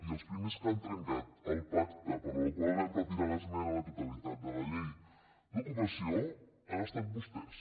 i els primers que han trencat el pacte pel qual vam retirar l’esmena a la totalitat de la llei d’ocupació han estat vostès